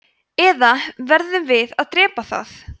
eða verðum við að drepa það